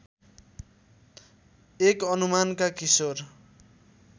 एक अनुमानका किशोर